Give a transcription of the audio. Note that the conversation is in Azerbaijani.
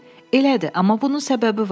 Elədir, amma bunun səbəbi var.